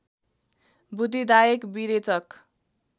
बुद्धिदायक विरेचक